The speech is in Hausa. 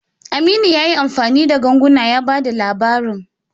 Aminu ya yi amfani da ganguna ya ba da labarin.